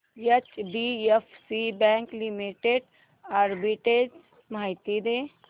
HDFC bank limited arbitrage माहिती दे